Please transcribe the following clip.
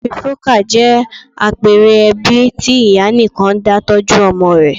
Matrifocal' jẹ́ àpẹẹre ẹbí tí ìyá nìkan dá tọ́jú ọmọ rẹ